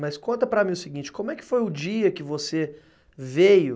Mas conta para mim o seguinte, como é que foi o dia que você veio...